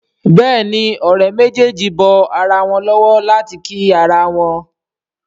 Béèni Òré méjèjì bó ira wón lówó láti kí àrà wón.